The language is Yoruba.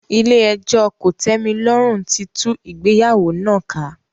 Ilé ẹjọ́ kòtẹ́milọ́rùn tí tú ìgbéyàwó náà ká.